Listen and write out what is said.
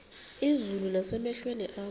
izulu nasemehlweni akho